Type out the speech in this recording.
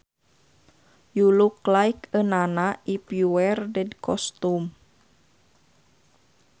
You look like a nana if you wear that costume